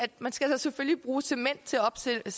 man skal selvfølgelig bruge cement til at opsætte